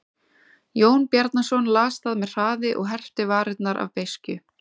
Jón Bjarnason las það með hraði og herpti varirnar af beiskju.